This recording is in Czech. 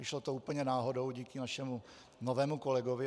Vyšlo to úplně náhodou díky našemu novému kolegovi.